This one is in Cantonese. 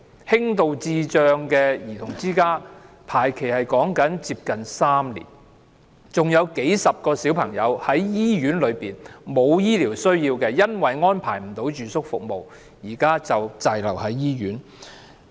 輕度智障兒童之家宿位的輪候時間接近3年；還有幾十個小朋友本身沒有醫療需要，卻因為未獲安排住宿服務而滯留醫院。